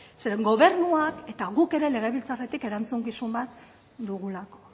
zeren gobernuak eta guk ere legebiltzarretik erantzukizun bat dugulako